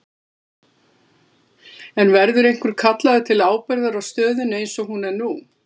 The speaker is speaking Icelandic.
En verður einhver kallaður til ábyrgðar á stöðunni eins og hún er nú?